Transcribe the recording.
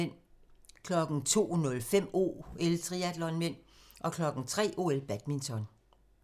02:05: OL: Triatlon (m) 03:00: OL: Badminton